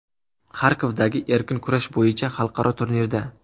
Xarkovdagi erkin kurash bo‘yicha xalqaro turnirda.